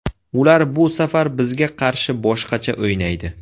Ular bu safar bizga qarshi boshqacha o‘ynaydi.